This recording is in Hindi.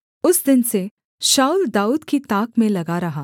उस दिन से शाऊल दाऊद की ताक में लगा रहा